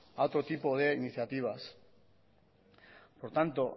a otro tipo de iniciativas por tanto